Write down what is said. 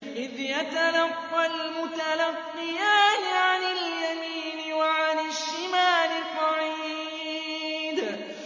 إِذْ يَتَلَقَّى الْمُتَلَقِّيَانِ عَنِ الْيَمِينِ وَعَنِ الشِّمَالِ قَعِيدٌ